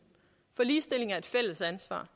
for ligestilling er et fælles ansvar